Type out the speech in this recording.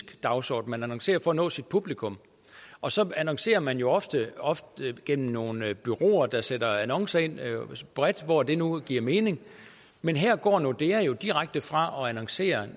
dagsorden man annoncerer for at nå sit publikum og så annoncerer man jo ofte ofte gennem nogle bureauer der sætter annoncer bredt hvor det nu giver mening men her går nordea jo direkte fra at annoncere